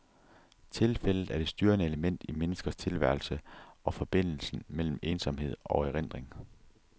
Tilfældet er det styrende element i menneskers tilværelse, og forbindelsen mellem ensomhed og erindring.